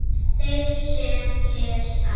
Þeir sem lesa